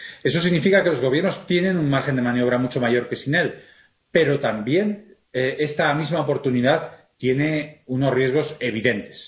Eso significa que los Gobiernos tienen un margen de maniobra mucho mayor que sin él, pero también esta misma oportunidad tiene unos riesgos evidentes.